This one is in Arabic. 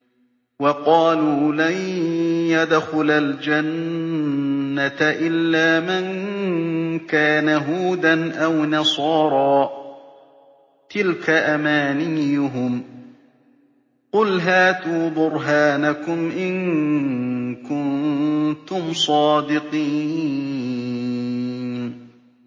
وَقَالُوا لَن يَدْخُلَ الْجَنَّةَ إِلَّا مَن كَانَ هُودًا أَوْ نَصَارَىٰ ۗ تِلْكَ أَمَانِيُّهُمْ ۗ قُلْ هَاتُوا بُرْهَانَكُمْ إِن كُنتُمْ صَادِقِينَ